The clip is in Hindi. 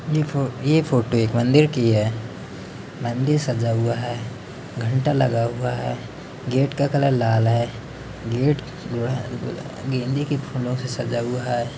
ये फोटो एक मंदिर की है। मंदिर सजा हुआ है। घंटा लगा हुआ है। गेट का कलर लाल है। गेट जो है। अ अ ब गेंदे के फूलो से सजा हुआ है।